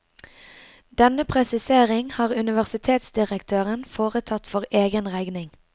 Denne presisering har universitetsdirektøren foretatt for egen regning.